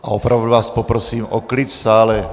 A opravdu vás poprosím o klid v sále.